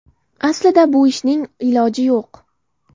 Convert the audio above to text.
Aslida bu ishning iloji yo‘q.